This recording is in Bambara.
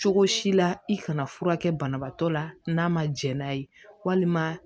Cogo si la i kana fura kɛ banabaatɔ la n'a ma jɛn n'a ye walima